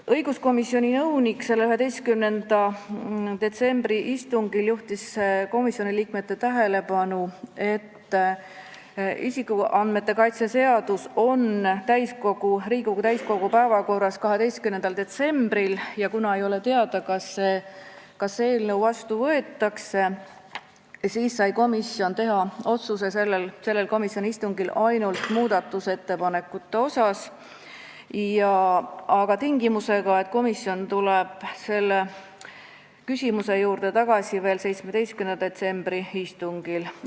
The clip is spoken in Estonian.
Õiguskomisjoni nõunik juhtis 11. detsembri istungil komisjoni liikmete tähelepanu, et isikuandmete kaitse seadus on Riigikogu täiskogu päevakorras 12. detsembril ja kuna ei ole teada, kas see eelnõu seadusena vastu võetakse, siis sai komisjon sellel komisjoni istungil teha otsuse ainult muudatusettepanekute kohta, aga tingimusega, et komisjon tuleb selle küsimuse juurde tagasi 17. detsembri istungil.